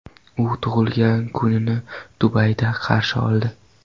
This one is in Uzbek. U tug‘ilgan kunini Dubayda qarshi oldi.